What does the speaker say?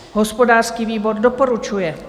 Hospodářský výbor doporučuje.